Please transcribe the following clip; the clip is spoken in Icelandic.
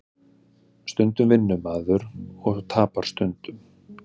Stundum vinnur maður og tapar stundum